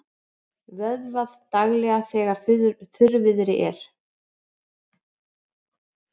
Vökvað daglega þegar þurrviðri er.